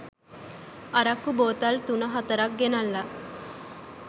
අරක්කු බෝතල් තුන හතරක් ගෙනල්ල